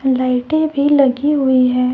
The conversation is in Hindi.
लाइटें भी लगी हुई है।